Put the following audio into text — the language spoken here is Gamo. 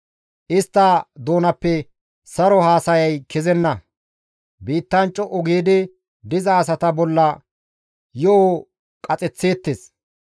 Istta doonappe saro haasayay kezenna; biittan co7u giidi diza asata bolla yo7o qaxeththeettes.